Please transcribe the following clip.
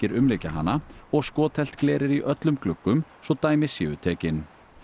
umlykja hana og skothelt gler er í öllum gluggum svo dæmi séu tekin